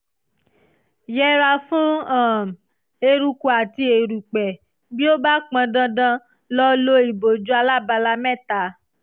yẹra fún um eruku àti erùpẹ̀; bí ó bá pọn dandan lo lo ìbòjú alábala mẹ́ta